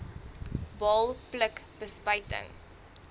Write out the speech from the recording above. baal pluk bespuiting